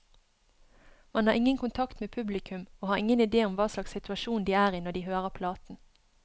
Man har ingen kontakt med publikum, og har ingen idé om hva slags situasjon de er i når de hører platen.